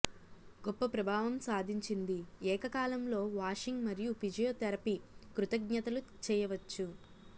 గొప్ప ప్రభావం సాధించింది ఏకకాలంలో వాషింగ్ మరియు ఫిజియోథెరపీ కృతజ్ఞతలు చేయవచ్చు